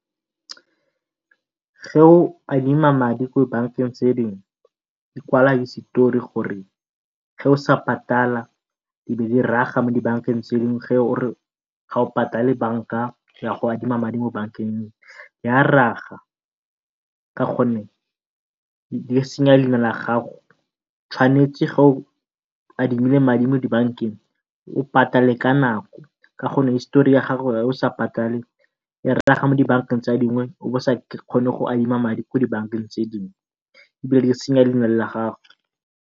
o adima madi ko bankeng tse dingwe, di kwala hisetori gore o sa patala di be di raga mo dibankeng tse dingwe o re ga o patale banka ya go adima madi bankeng ya raga ka go nne di senya leina la gago. Tshwanetse o adimile madi mo dibankeng o patale ka ako ka gonne hisetori ya gago o sa patale e raga mo dibankeng tse dingwe o bo o sa kgone go adima madi ko dibankeng tse dingwe e be e senya leina la gago.